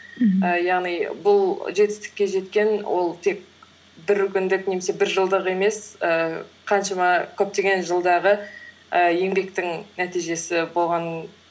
мхм ііі яғни бұл жетістікке жеткен ол тек бір күндік немесе бір жылдық емес ііі қаншама көптеген жылдағы ііі еңбектің нәтижесі болған